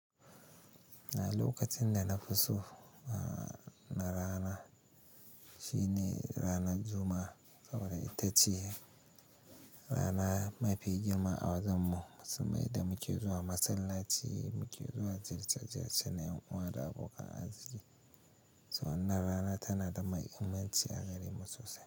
A lokacin da nafiso na rana shine ranar Juma'a saboda ita ce rana mafi girma a wajen mu. Mai da muke zuwa masallaci, muke zuwa ziyarar cana yan uwa da abokan arziki. To wannan rana tanada mahimmanci a gare mu sosai.